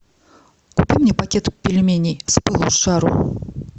купи мне пакет пельменей с пылу с жару